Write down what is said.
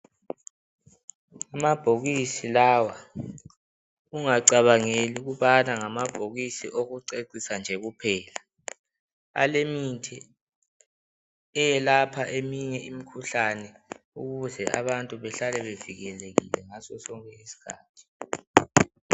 Amabhokisi lawa ungacabangeli ukubana ngamabhokisi okucecisa nje kuphela. Alemithi eyelapha eminye imikhuhlane ukuze abantu bahlale bevikelekile ngaso sonke isikhathi.